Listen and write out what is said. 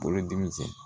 Bolodimi cɛn